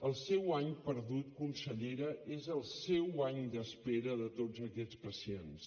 el seu any perdut consellera és el seu any d’espera de tots aquests pacients